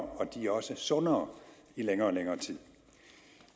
og de er også sundere i længere og længere tid